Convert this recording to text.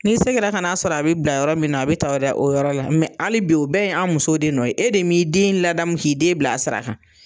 N'i sigira kan'a sɔrɔ a be bila yɔrɔ min na a be ta o da o yɔrɔ la ali bi o bɛɛ ye an' musow de nɔ ye. E de m'i den ladamu k'i den bil'a sira kan.